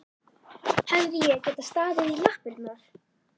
Hefði ég getað staðið í lappirnar?